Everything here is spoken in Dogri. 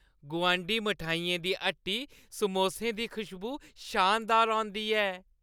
गुआंढी मठैइयें दी हट्टी समोसें दी खुशबू शानदार होंदी ऐ।